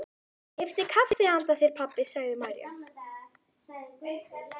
Ég keypti kaffi handa þér, pabbi, sagði María.